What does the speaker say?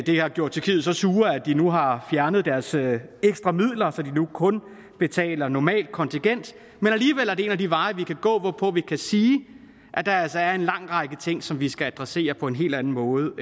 har gjort tyrkiet så sur at de nu har fjernet deres ekstra midler så de nu kun betaler normalt kontingent men alligevel er det en af de veje vi kan gå hvorpå vi kan sige at der altså er en lang række ting som vi skal adressere på en helt anden måde